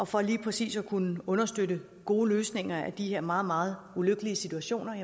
for lige præcis at kunne understøtte gode løsninger i de her meget meget ulykkelige situationer